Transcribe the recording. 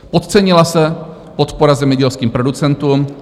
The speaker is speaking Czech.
Podcenila se podpora zemědělským producentům.